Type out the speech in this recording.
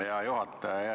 Hea juhataja!